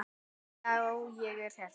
Já, ég er hérna.